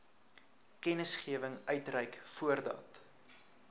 kennisgewing uitreik voordat